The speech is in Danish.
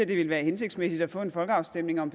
det ville være hensigtsmæssigt at få en folkeafstemning om